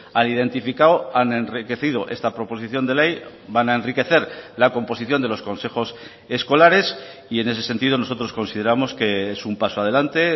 han identificado han enriquecido esta proposición de ley van a enriquecer la composición de los consejos escolares y en ese sentido nosotros consideramos que es un paso adelante